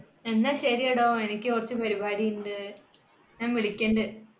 എന്ന ശരിടോ എനിക്ക് കുറച്ചു പരിപാടിയുണ്ട് വിളിക്കണ്ട്